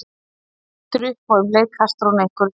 Hann lítur upp og um leið kastar hún einhverju til hans.